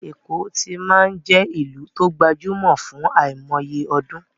Èkó ti máa ń jẹ́ ìlú tó gbajúmọ̀ fún àìmọye ọdún